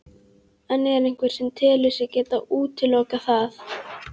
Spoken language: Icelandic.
En er einhver sem telur sig geta útilokað það?